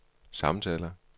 samtaler